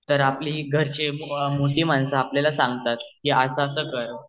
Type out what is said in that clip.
तर आपली घरची मोठी माणसे आपल्याला सांगतात कि अस अस कर